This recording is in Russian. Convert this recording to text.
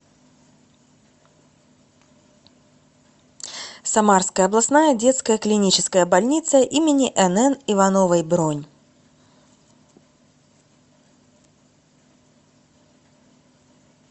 самарская областная детская клиническая больница им нн ивановой бронь